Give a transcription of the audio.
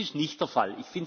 Das ist nicht der Fall.